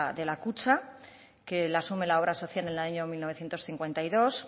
de la kutxa que la asume la obra social en el año mil novecientos cincuenta y dos